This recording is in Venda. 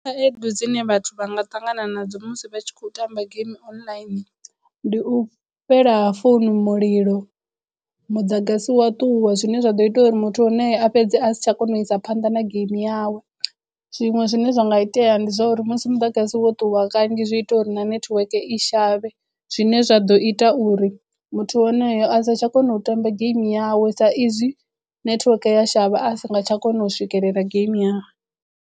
Khaedu dzine vhathu vha nga ṱangana nadzo musi vha tshi khou tamba game online ndi u fhela founu mulilo muḓagasi wa ṱuwa zwine zwa ḓo ita uri muthu a fhedze a si tsha kona u isa phanḓa na geimi yawe zwiṅwe zwine zwa nga itea ndi zwouri musi muḓagasi wo ṱuwa kanzhi zwi ita uri na netiweke i shavhe zwine zwa ḓo ita uri muthu wonoyo a sa tsha kona u tamba game yawe sa izwi netiweke ya shavha a si nga tsha kona u swikelela game yawe.